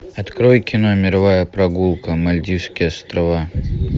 открой кино мировая прогулка мальдивские острова